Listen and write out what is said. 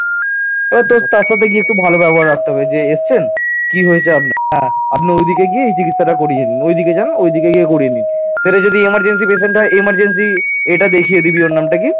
সেটা যদি emergency patient হয় emergency এটা দেখিয়ে দিবি ওর নামটা কি